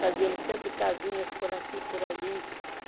Fazíamos sempre casinhas por aqui, por ali.